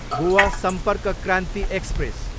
Goa Sampark Kranti express